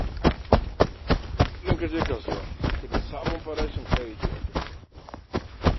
Kullum ka je kasuwa sai ka ji sabon farashin kayyaki a ƙasar nan.